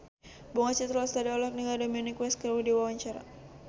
Bunga Citra Lestari olohok ningali Dominic West keur diwawancara